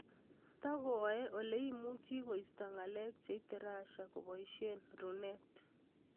Tagoae ole imuchi koisto ngalek cheite Russia kobaishee Runet